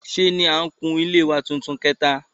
Sé ni n kun ilé wa tuntun kìtà